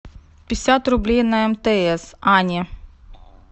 пятьдесят рублей на мтс ане